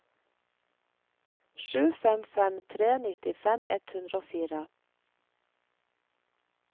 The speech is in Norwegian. sju fem fem tre nittifem ett hundre og fire